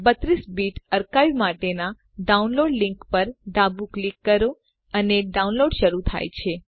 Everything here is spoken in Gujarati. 32 બીટ અર્કાઇવ માટેનાં ડાઉનલોડ લીંક પર ડાબું ક્લિક કરો અને ડાઉનલોડ શરૂ થાય છે